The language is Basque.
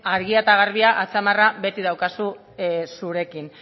argia eta garbia atzamarra beti daukazu zurekin